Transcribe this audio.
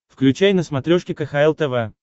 включай на смотрешке кхл тв